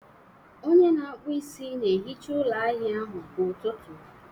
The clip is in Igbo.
onye na-akpụ isi na-ehicha ụlọ ahịa ahụ kwa ụtụtụ